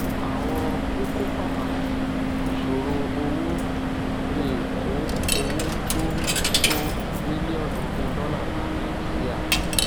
àwọn kókó pàtàkì ìṣòro owó lè kó owó tó tó mílíọnù ogún dọlà bá nàìjíríà